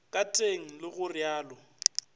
ka teng le go railo